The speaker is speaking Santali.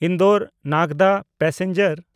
ᱤᱱᱰᱚᱨ-ᱱᱟᱜᱽᱫᱟ ᱯᱮᱥᱮᱧᱡᱟᱨ